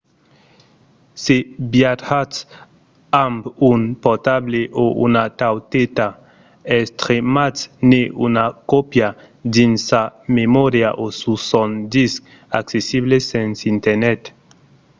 se viatjatz amb un portable o una tauleta estrematz-ne una còpia dins sa memòria o sus son disc accessible sens internet